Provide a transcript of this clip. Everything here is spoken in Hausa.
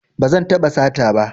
Ba zan taɓa sata ba